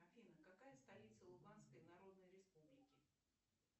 афина какая столица луганской народной республики